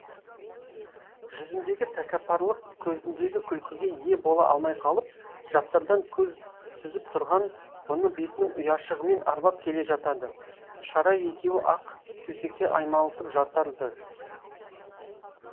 жүзіндегі тәкаппарлық көзіндегі күлкіге ие бола алмай қалып жапсардан көз сүзіп тұрған бұны бетінің ұяшығымен арбап келе жатады шара екеуі ақ төсекте аймаласып жатар ды